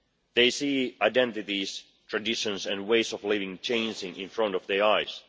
They see identities, traditions and ways of living changing in front of their eyes.